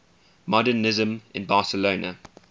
modernisme in barcelona